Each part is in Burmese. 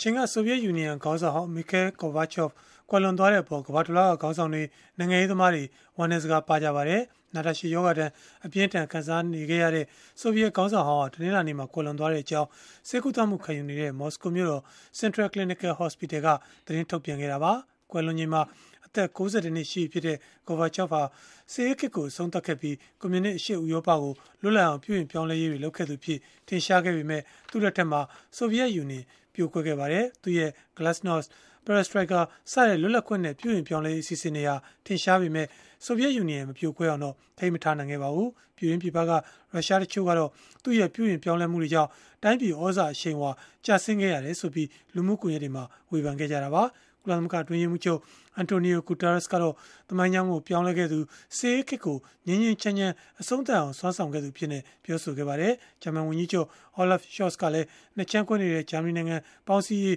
ချိန်က ဆိုဗီယက်ယူနီယံ ခေါင်းဆောင်ဟောင်း Mikhail Gorbachev ကွယ်လွန်သွားတဲ့အပေါ် ကမ္ဘာတလွှားက ခေါင်းဆောင်တွေ နိုင်ငံရေးသမားတွေ ဝမ်းနည်းစကား ပါးခဲ့ကြပါတယ်။ နာတာရှည် ရောဂါဒဏ် အပြင်းအထန် ခံစားနေရတဲ့ ဆိုဗီယက်ခေါင်းဆောင်ဟောင်းဟာ တနင်္လာနေ့မှာ ကွယ်လွန်သွားခဲ့ကြောင်း ဆေးကုသမှုခံယူနေတဲ့ မော်စကိုမြို့တော် Central Clinical Hospital က သတင်းထုတ်ပြန်ခဲ့တာပါ။ ကွယ်လွန်ချိန်မှာ အသက် ၉၁ နှစ် ရှိပြီဖြစ်တဲ့ Gorbachev ဟာ စစ်အေးခေတ်ကို အဆုံးသတ်ခဲ့ပြီး ကွန်မြူနစ်အရှေ့ဥရောပကို လွတ်လပ်အောင် ပြုပြင်ပြောင်းလဲရေးတွေ လုပ်ခဲ့သူအဖြစ် ထင်ရှားခဲ့ပေမဲ့၊ သူ့လက်ထက်မှာ ဆိုဗီယက်ယူနီယံ ပြိုကွဲခဲ့ပါတယ်။ သူ့ရဲ့ "glasnost" "perestroika" စတဲ့ လွတ်လပ်ခွင့်နဲ့ ပြုပြင်ပြောင်းလဲရေး အစီအစဉ်တွေဟာ ထင်ရှားခဲ့ပေမဲ့ ဆိုဗီယက်ယူနီယံကို ထိန်းထားဖို့ ကြိုးပမ်းမှုတွေကတော့ အောင်မြင်မှု မရခဲ့ပါဘူး။ ပြည်တွင်း၊ ပြည်ပက ရုရှားတချို့ကတော့ သူ့ရဲ့ ပြုပြင်ပြောင်းလဲမှုတွေကြောင့် တိုင်းပြည်သြဇာအရှိန်အဝါ ကျဆင်းခဲ့ရတယ်ဆိုပြီး လူမှုကွန်ရက်တွေမှာ ဝေဖန်ခဲ့ကြတာပါ။ ကုလသမဂ္ဂ အတွင်းရေးမှူးချုပ် Antonio Guterres ကတော့ သမိုင်းကြောင်းကို ပြောင်းလဲခဲ့သူ၊ စစ်အေးခေတ်ကို ငြိမ်းငြိမ်းချမ်းချမ်း အဆုံးသတ်အောင် စွမ်းဆောင်ခဲ့သူ အဖြစ်နဲ့ ပြောလိုက်ပါတယ်။ ဂျာမန်ဝန်ကြီးချုပ် Olaf Scholz ကလည်း ၂ ခြမ်းကွဲနေတဲ့ ဂျာမနီနိုင်ငံ ပေါင်းစည်းရေး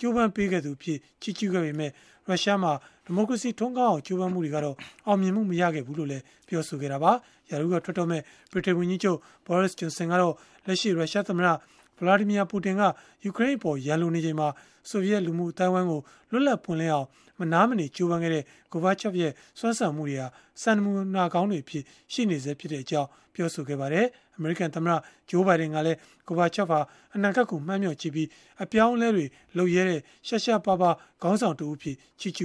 ကြိုးပမ်းခဲ့သူအဖြစ် ချီးကျုးခဲ့ပေမဲ့၊ ရုရှားမှာ ဒီမိုကရေစီ ထွန်းကားအောင် ကြိုးပမ်းမှုတွေကတော့ အောင်မြင်မှု မရခဲ့ဘူးလို့လည်း ပြောဆိုခဲ့တာပါ။ ရာထူးကထွက်တော့မယ့် ဗြိတိန်ဝန်ကြီးချုပ် Boris Johnson ကတော့ လက်ရှိ ရုရှားသမ္မတ Vladimir Putin က ယူကရိန်းအပေါ် ရန်လိုနေချိန်မှာ ဆိုဗီယက်လူမှုအသိုင်းအဝိုင်းကို လွတ်လပ်ပွင့်လင်းအောင် မနားမနေ ကြိုးပမ်းခဲ့တဲ့ Gorbachev ရဲ့ စွမ်းဆောင်မှုတွေဟာ စံနမူနာကောင်းတွေအဖြစ် ရှိနေဆဲဖြစ်ကြောင်း ပြောခဲ့ပါတယ်။ အမေရိကန်သမ္မတ Joe Biden ကလည်း Gorbachev ဟာ အနာဂတ်ကို မှန်းမျှော်ကြည့်ပြီး အပြောင်းအလဲတွေ လုပ်ရဲတဲ့ ရှားရှားပါးပါး ခေါင်းဆောင်တဦးအဖြစ် ချီးကျ